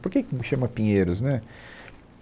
Por que que não chama Pinheiros né?